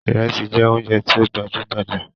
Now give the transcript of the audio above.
Ìrẹsí jẹ oúnjẹ tí ó gbajú gbajà.